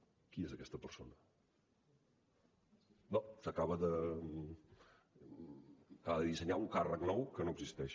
qui és aquesta persona acaba de dissenyar un càrrec nou que no existeix